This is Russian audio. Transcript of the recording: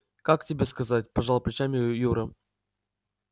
как тебе сказать пожал плечами юра